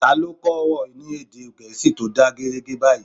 Ta lo kó̩ ìwọ ni èdè gẹẹsi to da geerege bayi?